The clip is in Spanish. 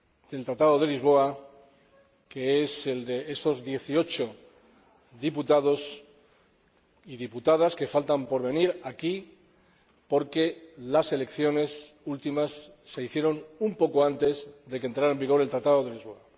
del Tratado de Lisboa, que es la de esos 18 diputados y diputadas que faltan por venir aquí porque las últimas elecciones últimas se celebraron un poco antes de que entrara en vigor el Tratado de Lisboa.